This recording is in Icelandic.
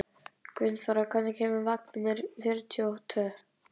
Gunnþóra, hvenær kemur vagn númer fjörutíu og tvö?